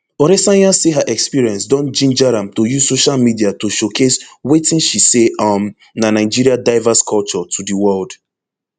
oresanya say her experience don ginger am to use social media to showcase wetin she say um na nigeria diverse culture to di world